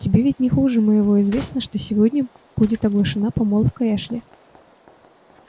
тебе ведь не хуже моего известно что сегодня будет оглашена помолвка эшли